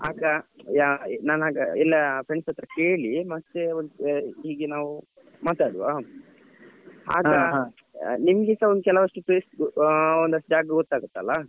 ಆಗ ಯಾ ನಾನ್ ಆಗ ಎಲ್ಲ friends ಹತ್ರ ಕೇಳಿ ಮತ್ತೆ ಒಂದು ಹೀಗೆ ನಾವು ಮಾತಾಡುವ ನಿಮ್ಗೆಸ ಕೆಲವಷ್ಟು place ಆ ಒಂದಷ್ಟು ಜಾಗ ಗೊತ್ತಾಗುತ್ತಲ.